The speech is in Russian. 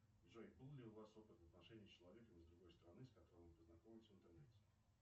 джой был ли у вас опыт отношений с человеком из другой страны с которым вы познакомились в интернете